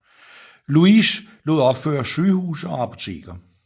Louis lod opføre sygehuse og apoteker